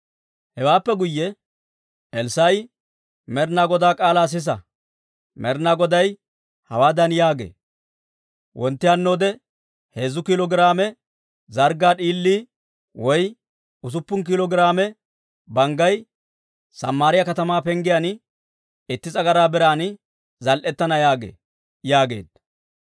Hewaappe guyye Elssaa'i, «Med'ina Godaa k'aalaa sisa! Med'ina Goday hawaadan yaagee, Wontti hannoode heezzu kiilo giraame zarggaa d'iilii woy usuppun kiilo giraame banggay Samaariyaa katamaa penggiyaan itti s'agaraa biran zal"etana yaagee» yaageedda.